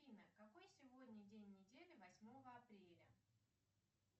афина какой сегодня день недели восьмого апреля